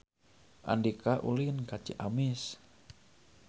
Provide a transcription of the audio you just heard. Andika ulin ka Ciamis